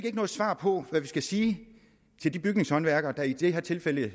ikke noget svar på hvad vi skal sige til de bygningshåndværkere i det her tilfælde i